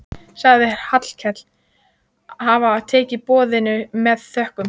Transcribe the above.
Sagðist Hallkell hafa tekið boðinu með þökkum.